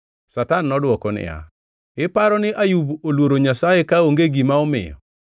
Satan nodwoko niya, “Iparo ni Ayub oluoro Nyasaye kaonge gima omiyo?